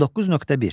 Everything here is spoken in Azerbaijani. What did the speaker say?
19.1.